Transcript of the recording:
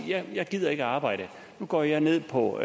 jeg gider ikke arbejde nu går jeg ned på